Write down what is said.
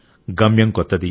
గమ్యం కొత్తది